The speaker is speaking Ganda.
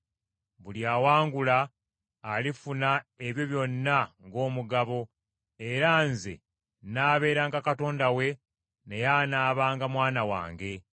Buli awangula alifuna ebyo byonna ng’omugabo, era nze nnaaberanga Katonda we, naye anaabanga mwana wange.